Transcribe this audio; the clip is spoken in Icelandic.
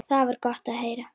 Það var gott að heyra.